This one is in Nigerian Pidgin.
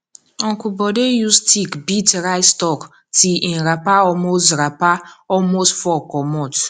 uncle bode use stick beat rice stalk till him wrapper almost wrapper almost fall comot